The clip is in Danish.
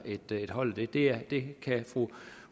et hold det det kan fru